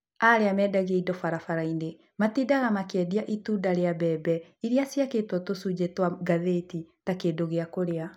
Arĩa marendagia indo barabara-inĩ matindaga makĩendia itunda cia mbembe iria ciakĩtwo tũcunjĩ twa ngathĩti ta kĩndũ gĩa kũrĩa.